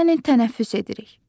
Yəni tənəffüs edirik.